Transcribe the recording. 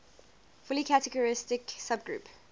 fully characteristic subgroup